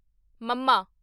ਮੱਮਾ